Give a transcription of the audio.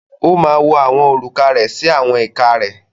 Ó máa wọ àwọn òrùka rẹ̀ sí àwọn ìka rẹ̀.